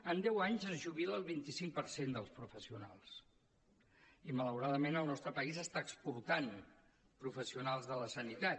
en deu anys es jubila el vint cinc per cent dels professionals i malauradament el nostre país està exportant professionals de la sanitat